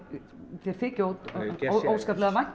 þér þyki óskaplega vænt